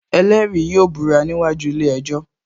Ẹlẹ́rìí yóò búra níwájú ilé ejò